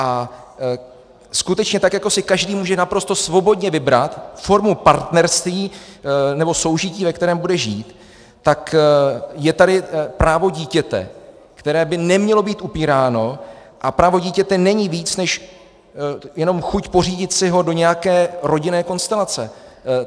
A skutečně tak jako si každý může naprosto svobodně vybrat formu partnerství nebo soužití, ve kterém bude žít, tak je tady právo dítěte, které by nemělo být upíráno, a právo dítěte není víc než jenom chuť pořídit si ho do nějaké rodinné konstelace.